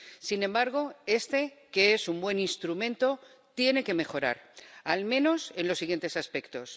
Sin embargo, este, que es un buen instrumento, tiene que mejorar al menos en los siguientes aspectos.